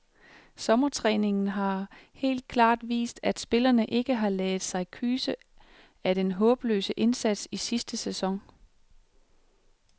Sommertræningen har helt klart vist, at spillerne ikke har ladet sig kyse af den håbløse indsats i sidste sæson.